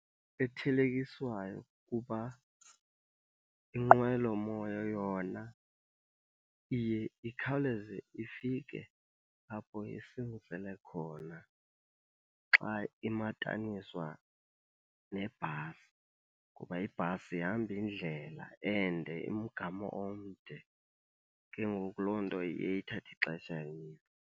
Ethelekiswayo kuba inqwelomoya yona iye ikhawuleze ifike apho isingisele khona xa imataniswa nebhasi. Kuba ibhasi ihamba indlela ende umgama omde, ke ngoku loo nto iye ithathe ixesha elide.